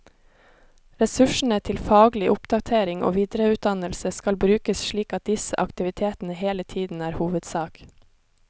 Ressursene til faglig oppdatering og videreutdannelse skal brukes slik at disse aktivitetene hele tiden er hovedsak.